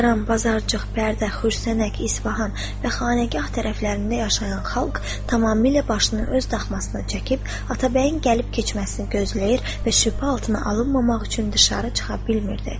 Hüsəran, Bazarcıq, Bərdə, Xurşənək, İsbahan və Xanəgah tərəflərində yaşayan xalq tamamilə başını öz daxmasına çəkib, atabəyin gəlib keçməsini gözləyir və şübhə altına alınmamaq üçün dışarı çıxa bilmirdi.